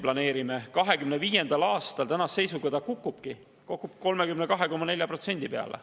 2025. aastal see kukubki ja kukub 32,4% peale.